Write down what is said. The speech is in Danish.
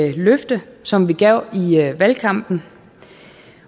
et løfte som vi gav i valgkampen